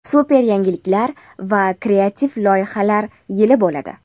super yangiliklar va kreativ loyihalar yili bo‘ladi.